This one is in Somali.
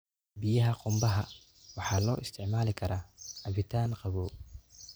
Biyaha qumbaha waxaa loo isticmaali karaa cabitaan qabow.